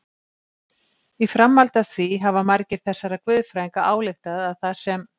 Í framhaldi af því hafa margir þessara guðfræðinga ályktað að þar sem